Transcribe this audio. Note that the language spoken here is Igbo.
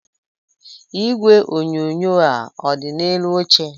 Igwe onyonyo a ọ dị n'elu oche?